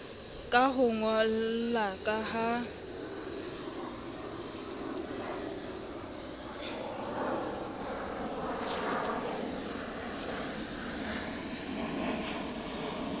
ka ho ngollwa ka ha